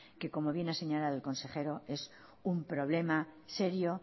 que como bien ha señalado el consejero es un problema serio